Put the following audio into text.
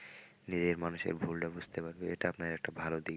নিজের মানুষের ভুলটা বুঝতে পারবে এটা আপনার একটা ভালো দিক।